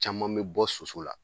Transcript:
Caman bɛ bɔ soso la.